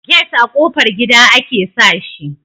get a ƙofar gida ake sa shi